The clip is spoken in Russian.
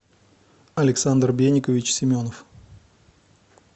александр беникович семенов